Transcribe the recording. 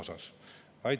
Aitäh!